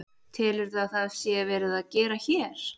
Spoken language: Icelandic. Telurðu að það sé verið að gera hér?